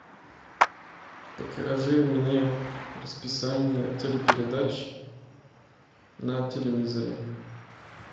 покажи мне расписание телепередач на телевизоре